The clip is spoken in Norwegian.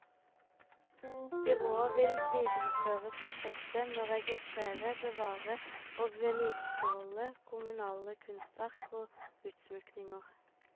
Byrådet vil videreføre prosjektet med å registrere, bevare og vedlikeholde kommunale kunstverk og utsmykninger.